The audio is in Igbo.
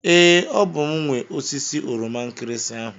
Ee, ọ bụ m nwe osisi oroma nkirinsi ahụ.